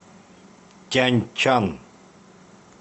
тяньчан